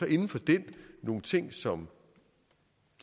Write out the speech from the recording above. inden for den nogle ting som